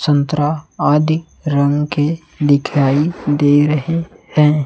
संतरा आदि रंग के दिखाई दे रहे हैं।